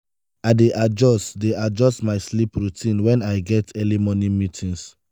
i dey adjust dey adjust my sleep routine when i get early morning meetings.